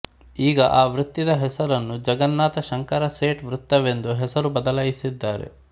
ಈಗ ಆ ವೃತ್ತಿದ ಹೆಸರನ್ನು ಜಗನ್ನಾಥ ಶಂಕರ ಸೇಟ್ ವೃತ್ತವೆಂದು ಹೆಸರು ಬದಲಾಯಿಸಿದ್ದಾರೆ